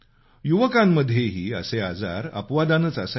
युवकांमध्येही असे आजार अपवादानेच असायचे